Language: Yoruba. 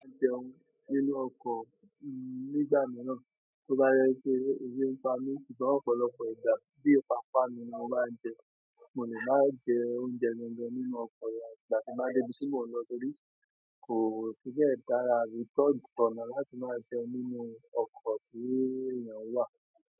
Máa jẹun nínú ọkọ̀, nígbà mìíràn, tó bá jẹ pé ebi ń pa mí, ṣùgbọ́n ọ̀pọ̀lọpọ̀ ìgbà bí ìpa pánu ni mo maá n jẹ, mo lè máa jẹ oúnjẹ mi gan nínú ọkọ̀ afi ígbà tí mo débí tí mo n lọ torí ko fi be dára tona láti maa jẹun nínú oko ti eeyan wa.